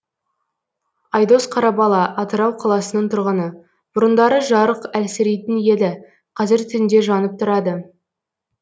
айдос қарабала атырау қаласының тұрғыны бұрындары жарық әлсірейтін еді қазір түнде жанып тұрады